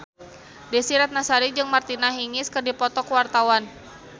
Desy Ratnasari jeung Martina Hingis keur dipoto ku wartawan